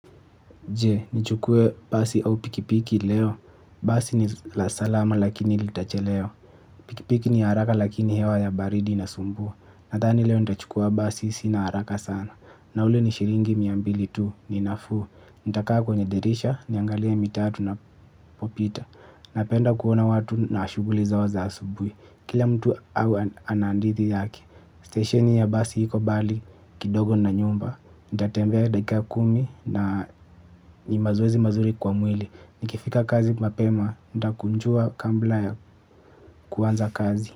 Je, nichukue basi au pikipiki leo? Basi ni la salama lakini litachelewa. Pikipiki ni haraka lakini hewa ya baridi inasumbua. Nadhani leo nitachukua basi sina haraka sana. Na ule ni shilingi mia mbili tu, ni nafuu. Nitakaa kwenye dirisha, niangalie mitatu inapopita. Napenda kuona watu na shughuli zao za asubuhi. Kila mtu au ana hadithi yake. Stesheni ya basi iko mbali kidogo na nyumba nitatembea dakika kumi na ni mazoezi mazuri kwa mwili. Nikifika kazi mapema nitakunjua kabla ya kuanza kazi.